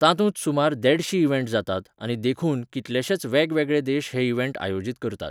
तातूंत सुमार देडशीं इवेंट जातात, आनी देखून, कितलेशेच वेगवेगळे देश हे इवेंट आयोजीत करतात.